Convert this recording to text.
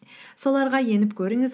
соларға еніп көріңіз